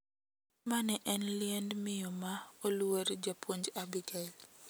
Ma ne en liend miyo ma oluor japuonj Abigael.